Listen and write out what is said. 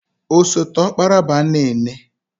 Osote ọkpara bụ Anene.